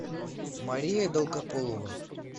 мария долгополова